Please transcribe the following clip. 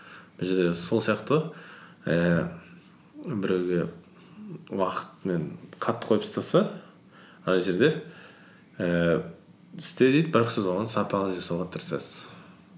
мына жерде сол сияқты ғой ііі біреуге уақытпен қатты қойып тастаса ана жерде ііі істе дейді бірақ сіз оны сапалы жасауға тырысасыз